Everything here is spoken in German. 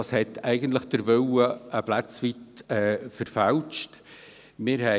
Dadurch ist der Willen ein Stück weit verfälscht worden.